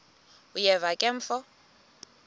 uyeva ke mfo